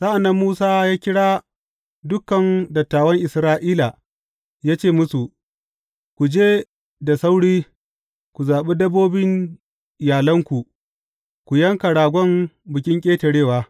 Sa’an nan Musa ya kira dukan dattawan Isra’ila ya ce musu, Ku je da sauri ku zaɓi dabbobin iyalanku, ku yanka ragon Bikin Ƙetarewa.